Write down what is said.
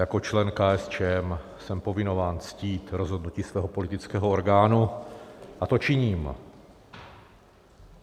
Jako člen KSČM jsem povinován ctít rozhodnutí svého politického orgánu a to činím.